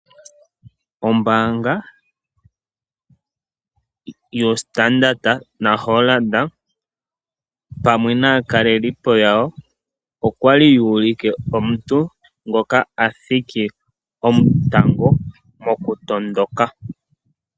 Ombaanga yoStandard naHollard pamwe naakalelipo yawo okwali yu ulike omuntu ngoka a thiki omutango mokutondoka.